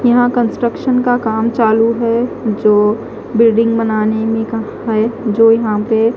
यहां कंस्ट्रक्शन का काम चालू है जो बिल्डिंग बनाने में का है जो यहां पे--